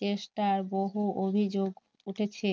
চেষ্টার বহু অভিযোগ উঠেছে